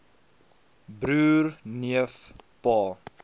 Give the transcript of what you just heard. broer neef pa